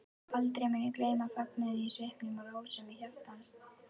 Aldrei mun ég gleyma fögnuðinum í svipnum og rósemi hjartans.